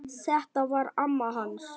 Þetta var amma hans